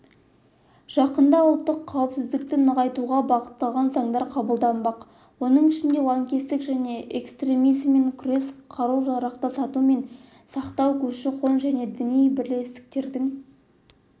жақында ұлттық қауіпсіздікті нығайтуға бағытталған заңдар қабылданбақ оның ішінде лаңкестік және экстремизммен күрес қару-жарақты сату мен сақтау көші-қон және діни бірлестіктердің